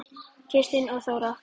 Kristín og Þóra.